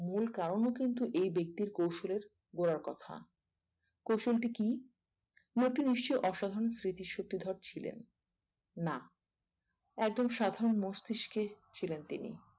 মূল কারণ কিন্তু এই ব্যক্তির কৌশলের গোড়ার কথা কৌশলটি কি লোকটি নিশ্চই অসাধারণ স্মৃতিশক্তিধর ছিলেন না একজন সাধারণ মস্তিষ্কে ছিলেন তিনি